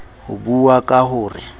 ho buuwa ka ho re